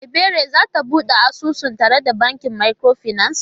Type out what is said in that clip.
Ebere zai bude asusu tare da bankin microfinance?